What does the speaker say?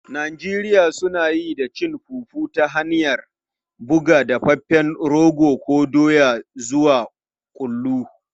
Al'adu daban-daban a Najeriya suna yi da cin fufu ta hanyar buga dafaffen rogo ko doya zuwa kullu.